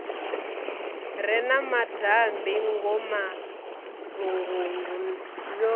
re na madambi ngomalungundu yo